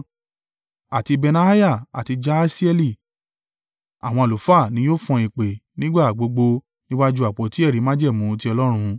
Àti Benaiah àti Jahasieli àwọn àlùfáà ni yóò fọn ìpè nígbà gbogbo níwájú àpótí ẹ̀rí májẹ̀mú ti Ọlọ́run.